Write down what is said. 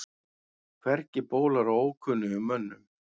Hvergi bólar á ókunnugum mönnum.